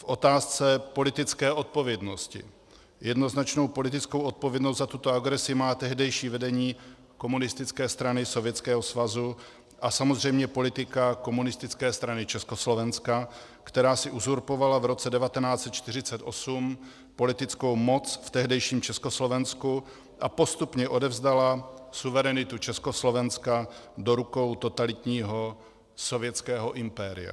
V otázce politické odpovědnosti jednoznačnou politickou odpovědnost za tuto agresi má tehdejší vedení Komunistické strany Sovětského svazu a samozřejmě politika Komunistické strany Československa, která si uzurpovala v roce 1948 politickou moc v tehdejším Československu a postupně odevzdala suverenitu Československa do rukou totalitního sovětského impéria.